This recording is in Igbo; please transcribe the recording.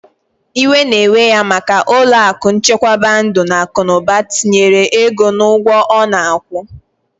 Iwe na ewe ya maka ulo aku nchekwaba ndu na akunuba tinyere ego na ugwo ona akwu.